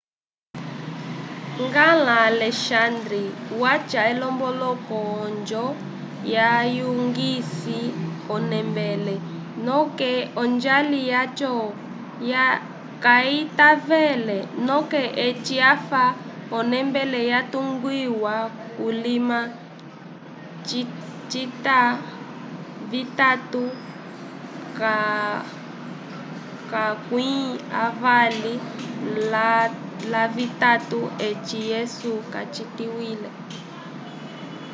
ngãla alexandre wacha olombongo ojo vayugise o nembele noke ojali jacho kaytavele noke eci afa o nembele yatugiwa kulima cita vitatu lakwi avali lavitatu ec yesu kacitikwile